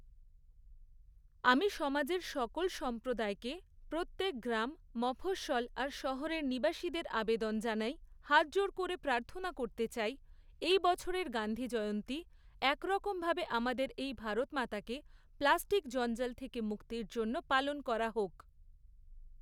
আমি সমাজের সকল সম্প্রদায়কে, প্রত্যেক গ্রাম, মফঃস্বল আর শহরের নিবাসীদের আবেদন জানাই, হাতজোড় করে প্রার্থনা করতে চাই, এই বছরের গান্ধী জয়ন্তী একরকমভাবে আমাদের এই ভারতমাতাকে প্লাস্টিক জঞ্জাল থেকে মুক্তির জন্য পালন করা হোক।